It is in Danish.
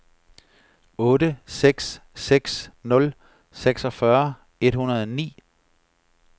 otte seks seks nul seksogfyrre et hundrede og ni